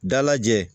Dalajɛ